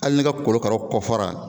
Hali n'i ka korokara kɔfɛ la